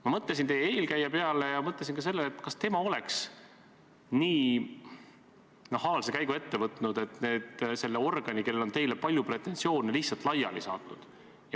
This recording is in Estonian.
Ma mõtlesin teie eelkäija peale ja mõtlesin ka sellele, kas tema oleks nii nahaalse käigu ette võtnud, et selle organi, kellel on teile palju pretensioone, lihtsalt laiali saatnud.